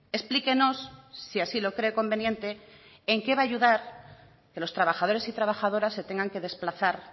explíquenos si así lo cree conveniente en qué va a ayudar que los trabajadores y trabajadoras se tengan que desplazar